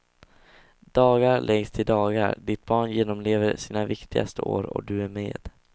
Dagar läggs till dagar, ditt barn genomlever sina viktigaste år och du är med.